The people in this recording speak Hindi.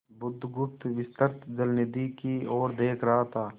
बुधगुप्त विस्तृत जलनिधि की ओर देख रहा था